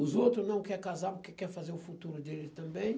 Os outros não querem casar porque querem fazer o futuro deles também.